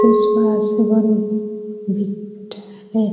Face wash भी बिकता है ।